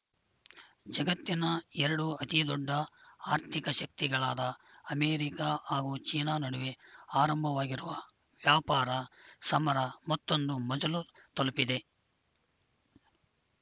ಜಗತ್ತಿನ ಎರಡು ಅತಿದೊಡ್ಡ ಆರ್ಥಿಕ ಶಕ್ತಿಗಳಾದ ಅಮೇರಿಕ ಹಾಗೂ ಚೀನಾ ನಡುವೆ ಆರಂಭವಾಗಿರುವ ವ್ಯಾಪಾರ ಸಮರ ಮತ್ತೊಂದು ಮಜಲು ತಲುಪಿದೆ